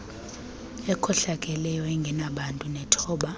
ekhohlakeleyo engenabuntu nethoba